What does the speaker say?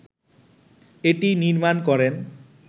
এটি নির্মাণ করেন